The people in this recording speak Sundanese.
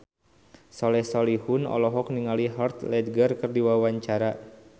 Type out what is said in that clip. Soleh Solihun olohok ningali Heath Ledger keur diwawancara